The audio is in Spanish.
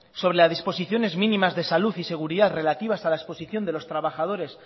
sobre las disposiciones mínimas de salud y seguridad relativas a la exposición de los trabajadores